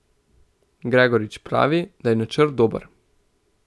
Gregorič pravi, da je načrt dober.